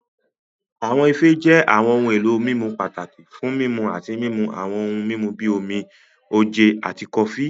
Awọn ife jẹ awọn ohun elo mimu pataki fun mimu ati mimu awọn ohun mimu bi omi, oje, ati kofi.